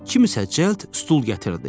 Kim isə cəld stul gətirdi.